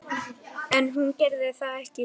En hún gerði það ekki.